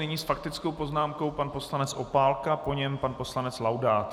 Nyní s faktickou poznámkou pan poslanec Opálka, po něm pan poslanec Laudát.